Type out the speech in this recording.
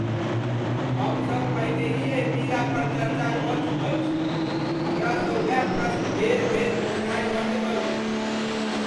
हमसब पहिनेहि एहि मीरा पर चर्चा कऽ चुकल छी! हमरासँ वैह प्रश्न बेर बेर पुछनाइ बन्द करू।